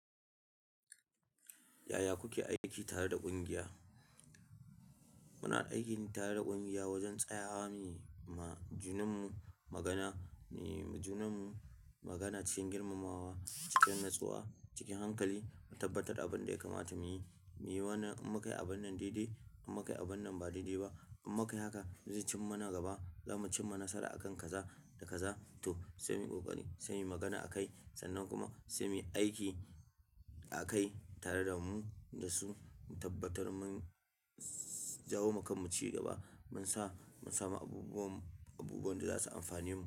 Yaya kuke aiki tare da ƙungiya? Muna aiki tare da kungiya wajen tsayawa ma junanmu magana, muyi ma junanmu magana cikin girmamawa, cikin natsuwa, cikin hankali, mu tabbatar da abin da ya kamata mu yi, mu yi wannan, in mu kayi abun nan daidai, mun kai abun nan ba daidai ba, mun kayi haka, zai cin mana gaba, za mu cin ma nasara a kan kaza da kaza, toh sai muyi kokari sai inyi magana a kai, sannan kuma sai muyi aiki a kai, tare da mu, da su, mu tabbatar mun jawo ma kanmu ci gaba. Mun sa, mun samu abubuwan, abubuwan da za su amfane mu.